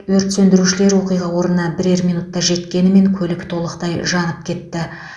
өрт сөндірушілер оқиға орнына бірер минутта жеткенімен көлік толықтай жанып кетті